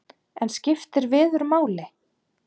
En skiptir veður máli?